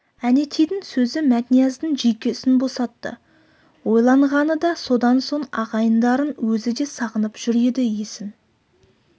әнетейдің сөзі мәтнияздың жүйкесін босатты ойланғаны да содан соң ағайындарын өзі де сағынып жүр еді есің